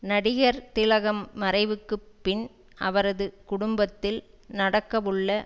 நடிகர் திலகம் மறைவுக்கு பின் அவரது குடும்பத்தில் நடக்கவுள்ள